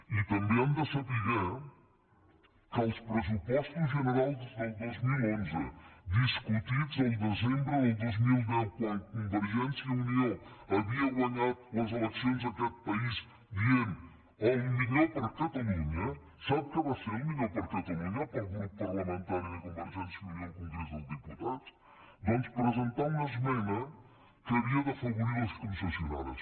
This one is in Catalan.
i també han de saber que als pressupostos generals del dos mil onze discutits el desembre del dos mil deu quan convergència i unió havia guanyat les eleccions a aquest país dient el millor per a catalunya sap què va ser el millor per a catalunya per al grup parlamentari de convergència i unió al congrés dels diputats doncs presentar una esmena que havia d’afavorir les concessionàries